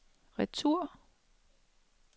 retur